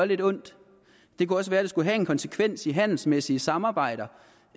lidt ondt det kunne også være at det skulle have en konsekvens for handelsmæssige samarbejder